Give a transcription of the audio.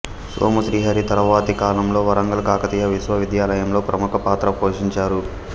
సోము శ్రీహరి తర్వాతి కాలంలో వరంగల్ కాకతీయ విశ్వవిధ్యాలయంలో ప్రముఖ పాత్ర పోషించారు